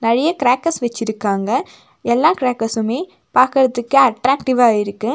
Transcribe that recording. நெறைய க்ரேக்கர்ஸ் வச்சிருக்காங்க எல்லா க்ரேக்கர்ஸுமே பாக்கர்துக்கு அட்ராக்டிவா இருக்கு.